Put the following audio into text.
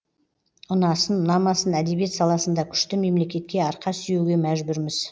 ұнасын ұнамасын әдебиет саласында күшті мемлекетке арқа сүйеуге мәжбүрміз